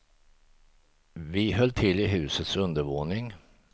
Vi höll till i husets undervåning.